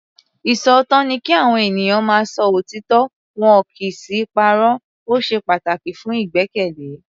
Ìṣòótọ́ ni kí Àwọn ènìyàn máa ń sọ òtítọ́ wọn kì í sì í parọ́. O ṣe pataki fun igbẹkẹle.